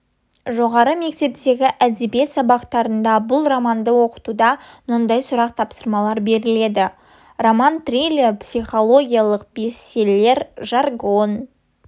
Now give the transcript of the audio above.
жоғары мектептегі әдебиет сабақтарында бұл романды оқытуда мынадай сұрақ тапсырмалар беріледі роман триллер психологиялық бестселлер жаргон